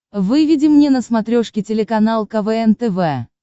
выведи мне на смотрешке телеканал квн тв